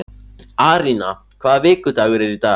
Arína, hvaða vikudagur er í dag?